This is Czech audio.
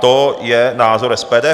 To je názor SPD.